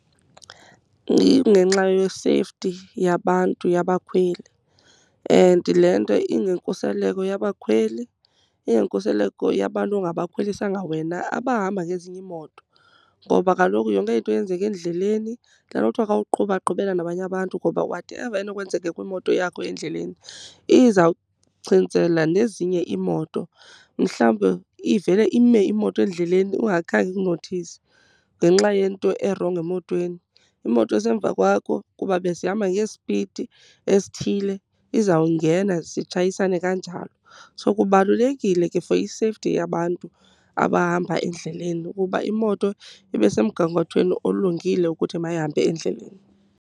Ingenxa ye-safety yabantu yabakhweli and le nto ingenkuseleko yabakhweli. Ingenkuseleko yabantu ongabakhwelisanga wena, abahamba ngezinye iimoto. Ngoba kaloku yonke into eyenzeka endleleni, yile nto kuthiwa xa uqhuba qhubela nabanye abantu ngoba whatever enokwenzeka kwimoto yakho endleleni izawuchintsela nezinye iimoto. Mhlawumbi ivele ime imoto endleleni ungakhange ikunothise ngenxa yento erongo emotweni. Imoto esemva kwakho, kuba besihamba ngesipidi esithile, izawungena zitshayisane kanjalo. So kubalulekile ke for i-safety yabantu abahamba endleleni ukuba imoto ibe semgangathweni olungile ukuthi mayihambe endleleni.